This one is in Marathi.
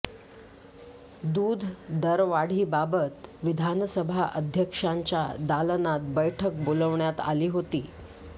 दूध दरवाढीबाबत विधानसभा अध्यक्षांच्या दालनात बैठक बोलावण्यात आली होती